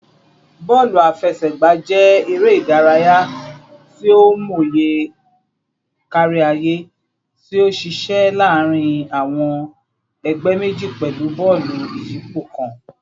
Bọọlu afẹsẹgba jẹ ere idaraya ti o mọye kariaye ti o ṣiṣẹ laarin awọn ẹgbẹ meji pẹlu bọọlu iyipo kan